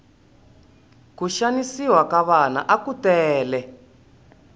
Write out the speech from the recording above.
ku xanisiwa ka vana aku tele